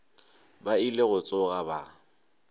ba ile go tsoga ba